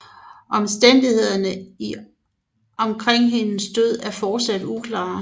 Omstændighederne omkring hendes død er fortsat uklare